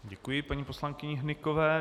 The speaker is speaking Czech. Děkuji paní poslankyni Hnykové.